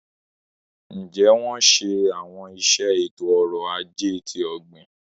Njẹ wọn ṣe awọn iṣẹ eto-ọrọ ajé ti ogbin?